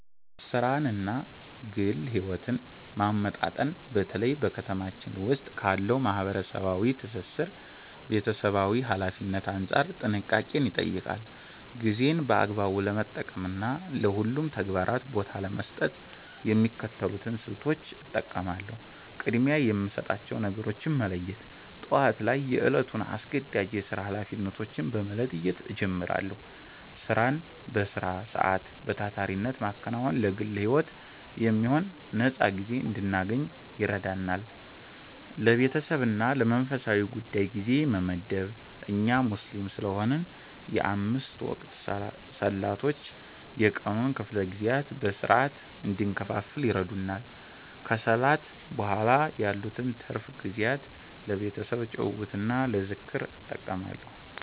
ሥራንና ግል ሕይወትን ማመጣጠን በተለይ በ ከተማችን ዉስጥ ካለው ማህበራዊ ትስስርና ቤተሰባዊ ኃላፊነት አንጻር ጥንቃቄን ይጠይቃል። ጊዜን በአግባቡ ለመጠቀምና ለሁሉም ተግባራት ቦታ ለመስጠት የሚከተሉትን ስልቶች እጠቀማለሁ፦ ቅድሚያ የሚሰጣቸውን ነገሮች መለየት፦ ጠዋት ላይ የዕለቱን አስገዳጅ የሥራ ኃላፊነቶች በመለየት እጀምራለሁ። ሥራን በሥራ ሰዓት በታታሪነት ማከናወን ለግል ሕይወት የሚሆን ነፃ ጊዜ እንድናገኝ ይረዳል። ለቤተሰብና ለመንፈሳዊ ጉዳይ ጊዜ መመደብ፦ እኛ ሙስሊም ስለሆንን የአምስት ወቅት ሰላቶች የቀኑን ክፍለ ጊዜያት በሥርዓት እንድንከፋፍል ይረዱናል። ከሰላት በኋላ ያሉትን ትርፍ ጊዜያት ለቤተሰብ ጭውውትና ለዝክር እጠቀማለሁ።